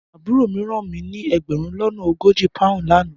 Aburo mi ran mi ni egberun lona ogoji poun lana